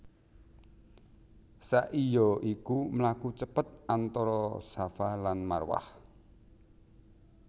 Sa i ya iku mlaku cepet antara Shafa lan Marwah